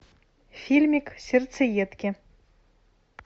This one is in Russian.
фильмик сердцеедки